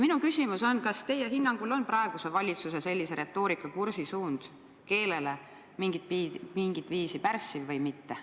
" Minu küsimus on, et kas teie hinnangul on praeguse valitsuse sellise retoorikakursi suund keelele mingit viisi pärssiv või mitte.